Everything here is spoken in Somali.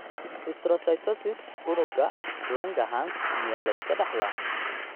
Histiocytosis unugga Langerhans miyaa la iska dhaxlaa?